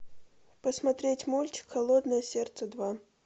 посмотреть мультик холодное сердце два